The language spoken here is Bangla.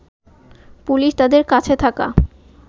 পুলিশ তাদের কাছে থাকা